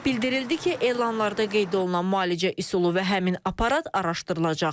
Bildirildi ki, elanlarda qeyd olunan müalicə üsulu və həmin aparat araşdırılacaq.